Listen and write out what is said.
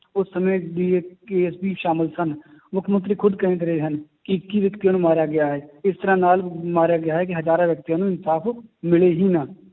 ਉਸ ਸਮੇ ਸ਼ਾਮਿਲ ਸਨ, ਮੁੱਖ ਮੰਤਰੀ ਖੁੱਦ ਕਹਿੰਦੇ ਰਹੇ ਹਨ, ਕਿ ਇੱਕੀ ਵਿਅਕਤੀਆਂ ਨੂੰ ਮਾਰਿਆ ਗਿਆ ਹੈ, ਇਸ ਤਰ੍ਹਾਂ ਨਾਲ ਮਾਰਿਆ ਗਿਆ ਹੈ ਕਿ ਹਜ਼ਾਰਾਂ ਵਿਅਕਤੀਆਂ ਨੂੰ ਇਨਸਾਫ਼ ਮਿਲੇ ਹੀ ਨਾ